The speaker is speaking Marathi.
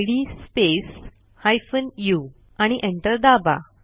इद स्पेस हायफेन उ आणि एंटर दाबा